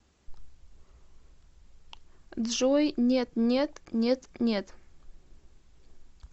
джой нет нет нет нет